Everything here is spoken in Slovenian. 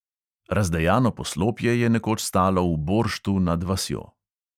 Razdejano poslopje je nekoč stalo v borštu nad vasjo.